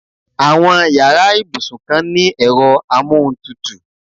Àwọn yàrá ibusuykan ni ẹ̀rọ amóhuntutù.